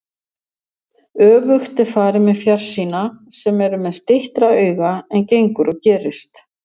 Öfugt er farið með fjarsýna, sem eru með styttra auga en gengur og gerist.